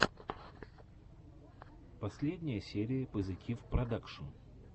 последняя серия позитивпродакшн